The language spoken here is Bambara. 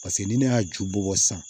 Paseke ni ne y'a ju bɔ sisan